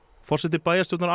forseti bæjarstjórnar